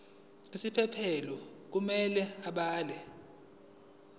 isiphephelo kumele abhale